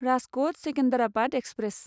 Rajkot Secunderabad express